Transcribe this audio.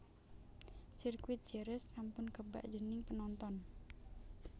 Sirkuit Jerez sampun kebak dening penonton